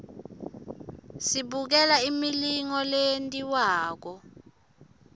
sibukela imilingo leyentiwakalo